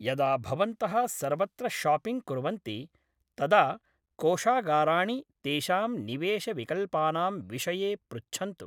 यदा भवन्तः सर्वत्र शापिङ्ग् कुर्वन्ति तदा कोषागाराणि तेषां निवेशविकल्पानां विषये पृच्छन्तु।